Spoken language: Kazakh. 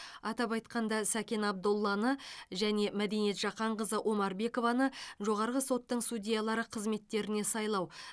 атап айтқанда сәкен абдолланы және мәдениет жақанқызы омарбекованы жоғарғы соттың судьялары қызметтеріне сайлау